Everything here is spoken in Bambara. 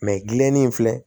gilinen in filɛ